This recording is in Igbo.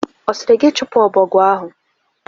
Ọ sịrị gị chụpụ ọbọgwụ ahụ?